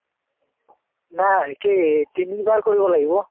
নাই কি তিনিবাৰ কৰিব লাগিব।